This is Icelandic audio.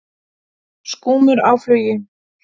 Skúmur á flugi.